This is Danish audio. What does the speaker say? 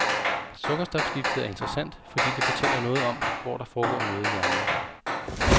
Sukkerstofskiftet er interessant, fordi det fortæller noget om, hvor der foregår noget i hjernen.